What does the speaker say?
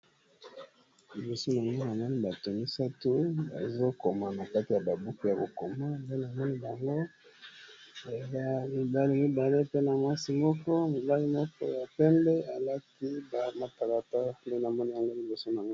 Liboso yango namoni bato misato bazokoma na kati ya babuku ya kokoma, pe na moni bango mibali mibale pe na mwasi moko, mobali moko ya pembe alati ba matalata pe na moni yango liboso na ngai.